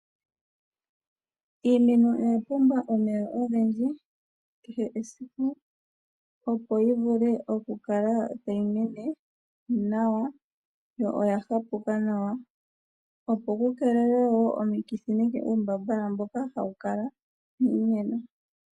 Iimeno oya pumbwa omeya ogendji kehe esiku opo yivule okukala tayi mene nawa yo oya hapuka nawa opo ku keelelwe wo omikithi nenge uumbaambala mboka hawu kala miimeno.